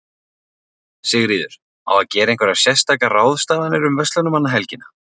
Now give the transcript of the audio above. Sigríður: Á að gera einhverjar sérstakar ráðstafanir um verslunarmannahelgina?